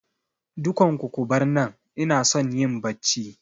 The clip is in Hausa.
Dukan ku kubar nan, inason yin Bacci